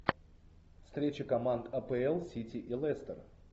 встреча команд апл сити и лестер